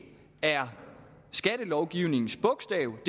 er skattelovgivningens bogstav